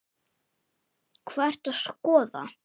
Hvað ertu að skoða?